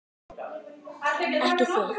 Ekki þig!